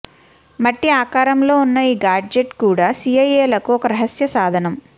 మట్టి ఆకారంలో ఉన్న ఈ గాడ్జెట్ కూడా సీఐఏలకు ఓ రహస్య సాధనం